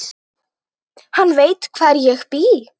Hann veit hvar ég bý.